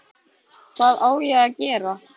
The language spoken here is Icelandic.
Hvað á ég að gera?